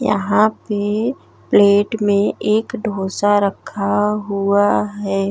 यहाँ पे प्लेट में एक ढोसा रखा हुआ है।